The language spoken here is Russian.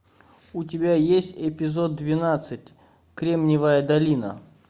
у тебя есть эпизод двенадцать кремниевая долина